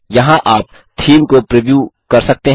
यहाँ आप थीम को प्रिव्यू कर सकते हैं